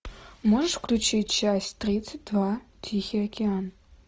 можешь включить часть тридцать два тихий океан